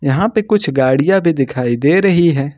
यहां पर कुछ गाड़ियां भी दिखाई दे रही हैं।